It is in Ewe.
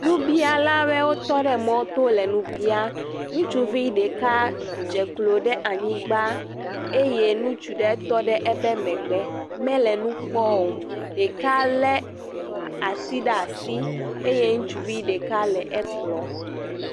Nubialawe wotɔ ɖe mɔto le nu biã. Ŋutsuvi ɖeka dze klo ɖe anyigba eye ŋutsu ɖe tɔ ɖe ebe megbe mele nukpɔo. Ɖeka le ati ɖ'asi eye ŋutsuvi ɖeka le ekplɔ.